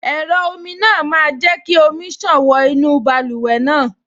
Ẹ̀rọ omi náà máa jẹ́ kí omi ṣàn wọ inú báluwẹ̀ náà